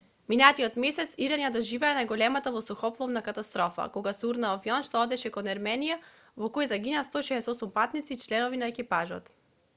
минатиот месец иран ја доживеа најголемата воздухопловна катастрофа кога се урна авион што одеше кон ерменија во кој загинаа 168 патници и членови на екипажот